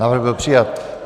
Návrh byl přijat.